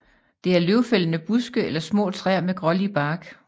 Det er løvfældende buske eller små træer med grålig bark